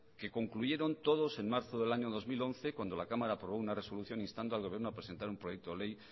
que concluyeron todos en marzo del año dos mil once cuando la cámara aprobó una resolución instando al gobierno a presentar un proyecto de ley